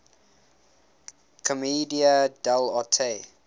commedia dell arte